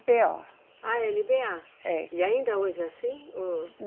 Bêa. Ah, eLeBêA. É. E ainda hoje é assim, o?